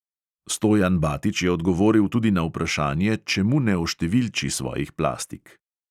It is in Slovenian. Stojan batič je odgovoril tudi na vprašanje, čemu ne oštevilči svojih plastik.